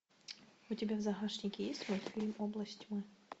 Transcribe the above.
у тебя в загашнике есть мультфильм область тьмы